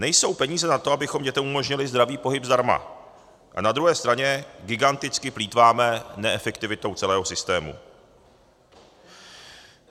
Nejsou peníze na to, abychom dětem umožnili zdravý pohyb zdarma, a na druhé straně giganticky plýtváme neefektivitou celého systému.